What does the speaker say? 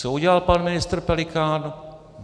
Co udělal pan ministr Pelikán?